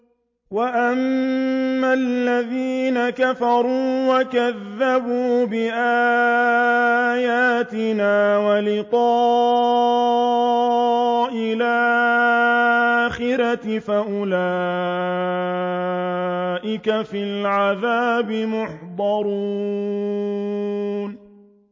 وَأَمَّا الَّذِينَ كَفَرُوا وَكَذَّبُوا بِآيَاتِنَا وَلِقَاءِ الْآخِرَةِ فَأُولَٰئِكَ فِي الْعَذَابِ مُحْضَرُونَ